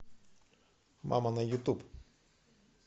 мама на ютуб